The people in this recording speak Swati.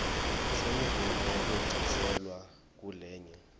semvumo yekwengciselwa kulenye